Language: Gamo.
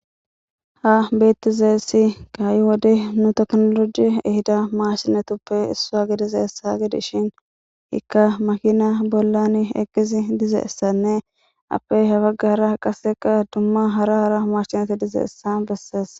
ha beettizeessi kaayi wode nu teknoloji ehida maarsinetuppe issua gidizeessaha gidi shin ikka makina bollan eqqizi dizeessanne appey hafagahra qasseka dumma hara hara hmarsineti dizeessa bessees